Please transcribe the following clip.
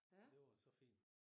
Men det var så fint